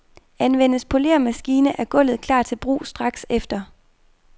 Anvendes poleremaskine, er gulvet klar til brug straks efter.